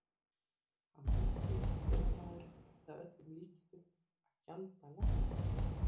Hann vissi, að vélamaðurinn yrði að öllum líkindum að gjalda læknishjálp